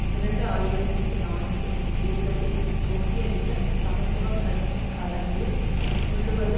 இரண்டு ஆயிரத்தி நான்கு தேர்தலில் சோசியலிச சமத்துவ கட்சி கலந்து கொள்ளுவது